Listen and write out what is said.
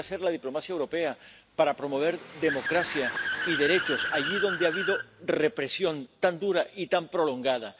¿Qué puede hacer la diplomacia europea para promover democracia y derechos allí donde ha habido represión tan dura y tan prolongada?